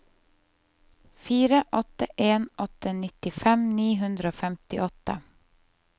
fire åtte en åtte nittifem ni hundre og femtiåtte